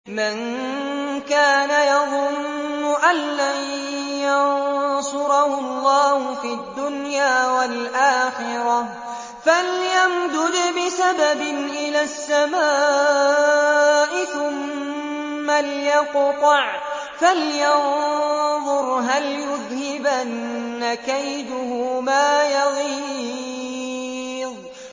مَن كَانَ يَظُنُّ أَن لَّن يَنصُرَهُ اللَّهُ فِي الدُّنْيَا وَالْآخِرَةِ فَلْيَمْدُدْ بِسَبَبٍ إِلَى السَّمَاءِ ثُمَّ لْيَقْطَعْ فَلْيَنظُرْ هَلْ يُذْهِبَنَّ كَيْدُهُ مَا يَغِيظُ